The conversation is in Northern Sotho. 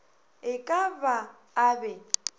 e ka ba a be